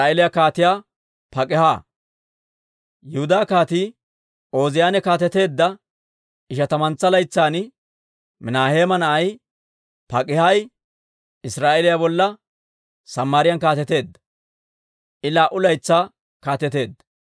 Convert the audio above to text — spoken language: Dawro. Yihudaa Kaatii Ooziyaane kaateteedda ishatamantsa laytsan, Minaaheema na'ay Pak'aahi Israa'eeliyaa bolla Samaariyaan kaateteedda; I laa"u laytsaa kaateteedda.